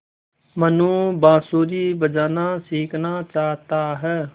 मनु बाँसुरी बजाना सीखना चाहता है